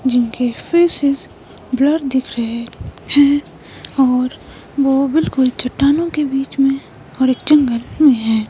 जिनके faces blur दिख रहे हैं और वो बिल्कुल चट्टानों के बीच में और एक जंगल में है।